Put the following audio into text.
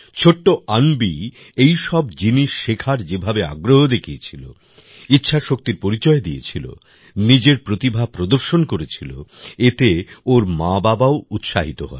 ছোট্ট অন্বি এইসব জিনিস শেখার যেভাবে আগ্রহ দেখিয়েছিল ইচ্ছাশক্তির পরিচয় দিয়েছিল নিজের প্রতিভা প্রদর্শন করেছিল এতে ওর মাবাবাও উৎসাহিত হয়